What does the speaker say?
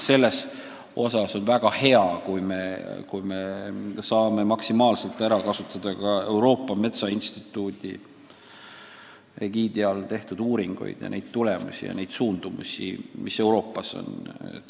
Selles mõttes on väga hea, kui me saame maksimaalselt ära kasutada ka Euroopa Metsainstituudi egiidi all tehtud uuringute tulemusi ja arvestada suundumusi, mis Euroopas on.